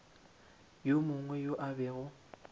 yo mongwe yo a bego